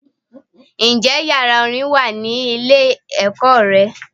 Ǹ jé yàrá Orin wà ní ilé èkó re